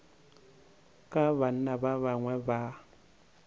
ka banna ba bangwe ba